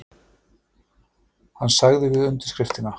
Hann sagði við undirskriftina: